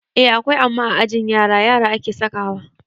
Eh akwai amma a ajin ƴan yara - yara ake sakawa